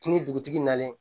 Fini dugutigi nalen